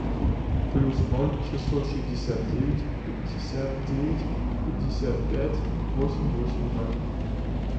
плюс ноль шестьсот шестьдесят девять пятьдесят девять пятьдесят пять восемь восемь ноль